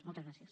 moltes gràcies